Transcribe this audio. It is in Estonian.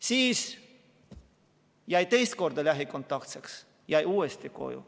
Siis jäi teist korda lähikontaktseks, jäi uuesti koju.